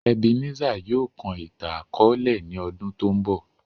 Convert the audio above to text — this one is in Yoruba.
Ebenezer yóò kọ ìtan-àkọọlẹ ni ọ́dun to ńbọ.